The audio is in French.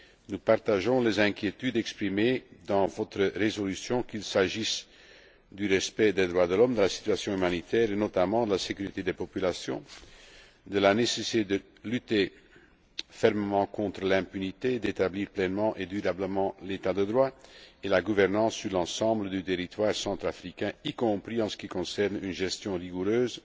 Nous partageons les inquiétudes exprimées dans votre résolution, qu'il s'agisse du respect des droits de l'homme, de la situation humanitaire et, notamment, de la sécurité des populations, de la nécessité de lutter fermement contre l'impunité, d'établir pleinement et durablement l'état de droit et la gouvernance sur l'ensemble du territoire centrafricain, y compris en ce qui concerne une gestion rigoureuse